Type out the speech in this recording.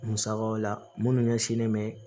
Musakaw la minnu ɲɛsinnen bɛ